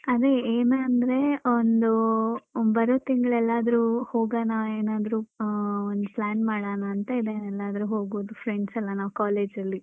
ಅದೇ ಏನಂದ್ರೆ ಒಂದು ಬರುವ ತಿಂಗ್ಳ್ಲೆಲಾರ್ದ್ರು ಹೋಗೋಣ ಏನಾದ್ರು ಅಹ್ ಒಂದ್ plan ಮಾಡಣ ಅಂತ ಇದೆ ಎಲ್ಲರೂ ಹೋಗೋದು friends ಯೆಲ್ಲಾ ನಾವ್ college ಅಲ್ಲಿ